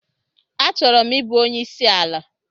Achọrọ m ịbụ onye isi ala.